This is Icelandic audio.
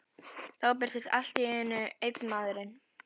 Þá birtist allt í einu enn einn maðurinn.